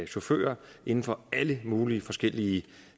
chauffører inden for alle mulige forskellige